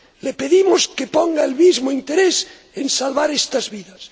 Le pedimos que ponga el mismo interés en salvar estas vidas.